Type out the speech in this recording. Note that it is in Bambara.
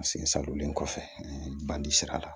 Sen sadonlen kɔfɛ bandi sira la